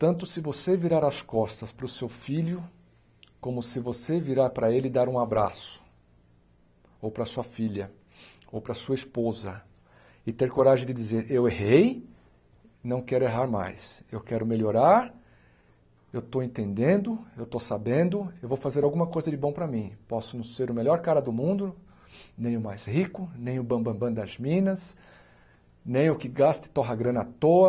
tanto se você virar as costas para o seu filho, como se você virar para ele e dar um abraço, ou para sua filha, ou para sua esposa, e ter coragem de dizer, eu errei, não quero errar mais, eu quero melhorar, eu estou entendendo, eu estou sabendo, eu vou fazer alguma coisa de bom para mim, posso não ser o melhor cara do mundo, nem o mais rico, nem o bambambã das minas, nem o que gasta e torre a grana à toa,